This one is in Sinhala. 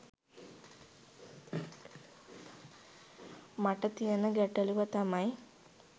මට තියන ගැටලුව තමයි